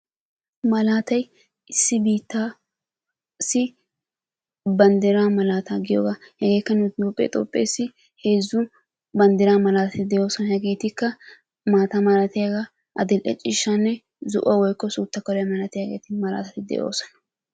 Malaatay issi biitta ssi banddiraa malataa giyoogaa. Hegeekka nu toophphee toophpheesi heezzu banddiraa malaatati de'oosona. Hegeetikka maata malatiyaagaa adildhe ciishshaanne zo'uwaa woikko suuttaa kuliyaa malatiyaageeti malatati de'oosona.